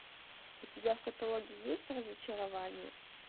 у тебя в каталоге есть разочарование